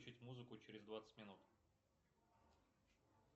включить музыку через двадцать минут